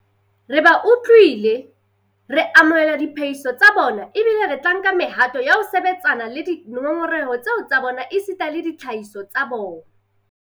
Re ba utlwile, re amohela diphehiso tsa bona ebile re tla nka mehato ya ho sebetsana le dingongoreho tseo tsa bona esita le tsona ditlhahiso tsa bona.